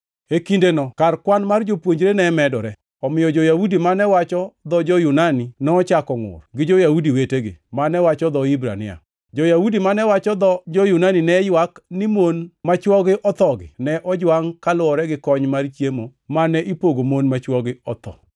E kindeno kar kwan mar jopuonjre ne medore, omiyo jo-Yahudi mane wacho dho jo-Yunani nochako ngʼur gi jo-Yahudi wetegi mane wacho dho Hibrania. Jo-Yahudi mane wacho dho jo-Yunani ne ywak ni mon ma chwogi othogi ne ojwangʼ kaluwore gi kony mar chiemo mane ipogo mon ma chwogi otho.